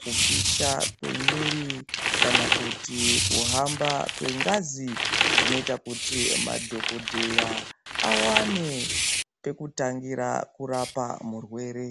kupisha kwemwiri kana kuti kuhamba kwengazi zvinoita kuti madhokodheya awane pekutangira kurapa murwere.